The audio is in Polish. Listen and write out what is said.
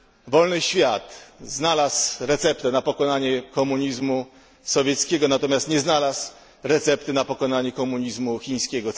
Wolny świat znalazł receptę na pokonanie komunizmu sowieckiego, natomiast nie znalazł recepty na pokonanie komunizmu chińskiego.